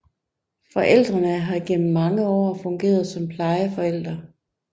Forældrene har gennem mange år fungeret som plejeforældre